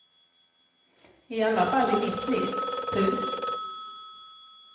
I alla fall i mitt liv. punkt